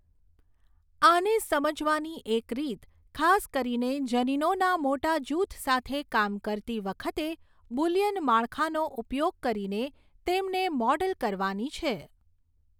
આને સમજવાની એક રીત, ખાસ કરીને જનીનોના મોટા જૂથ સાથે કામ કરતી વખતે, બુલિયન માળખાનો ઉપયોગ કરીને તેમને મૉડલ કરવાની છે.